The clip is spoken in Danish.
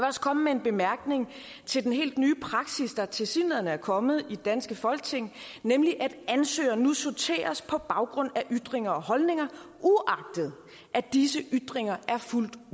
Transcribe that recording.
også komme med en bemærkning til den helt nye praksis der tilsyneladende er kommet i det danske folketing nemlig at ansøgere nu sorteres på baggrund af ytringer og holdninger uagtet at disse ytringer er fuldt